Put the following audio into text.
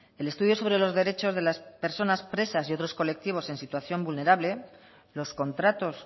el estudio sobre los derechos de las personas presas y otros colectivos en situación vulnerable los contratos